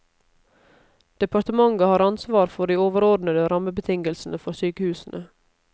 Departementet har ansvar for de overordnede rammebetingelsene for sykehusene.